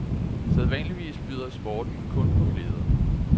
Sædvanligvis byder sporten kun på glæder.